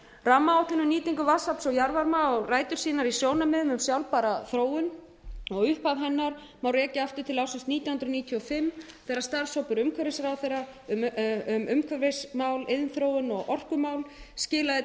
rammaáætlun um nýtingu vatnsafls og jarðvarma á rætur sínar í sjónarmiðum um sjálfbæra þróun og upphaf hennar má rekja aftur til ársins nítján hundruð níutíu og fimm þegar starfshópur umhverfisráðherra um umhverfismál iðnþróun og orkumál skilaði